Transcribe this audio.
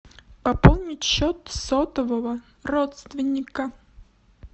пополнить счет сотового родственника